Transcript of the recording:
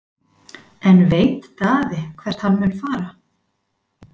En veit Daði hvert hann mun fara?